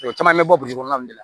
O caman bɛ bɔ kɔnɔna nin de la